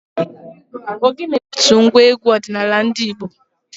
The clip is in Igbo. Ògénė bụ otu ngwa égwú ọdịnala ndị Igbo.